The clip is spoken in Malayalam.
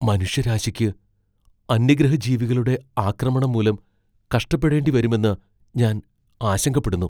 മനുഷ്യരാശിക്ക് അന്യഗ്രഹജീവികളുടെ ആക്രമണം മൂലം കഷ്ടപ്പെടേണ്ടിവരുമെന്ന് ഞാൻ ആശങ്കപ്പെടുന്നു.